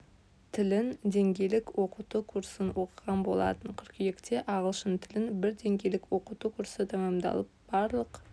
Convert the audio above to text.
тілін деңгейлік оқыту курсын оқыған болатын қыркүйекте ағылшын тілін бір деңгейлік оқыту курсы тәмамдалып барлық